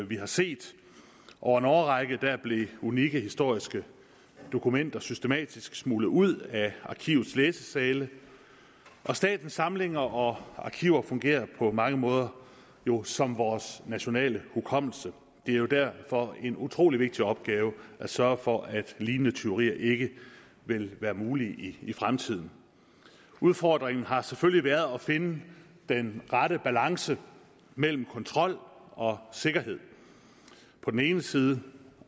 vi har set over en årrække blev unikke historiske dokumenter systematisk smuglet ud af arkivets læsesale statens samlinger og arkiver fungerer på mange måder jo som vores nationale hukommelse det er jo derfor en utrolig vigtig opgave at sørge for at lignende tyverier ikke vil være mulige i fremtiden udfordringen har selvfølgelig været at finde den rette balance mellem kontrol og sikkerhed på den ene side